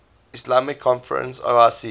islamic conference oic